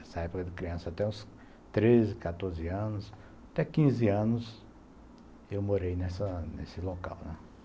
Essa época de criança até os treze, quatorze anos, até quinze anos eu morei nesse local, né.